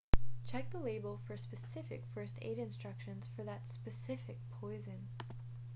check the label for specific first aid instructions for that specific poison